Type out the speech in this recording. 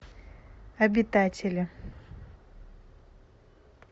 обитатели